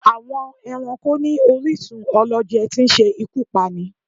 Àwọn Ẹranko ní orísún ọlọjẹ tí ń ṣe ikú Pání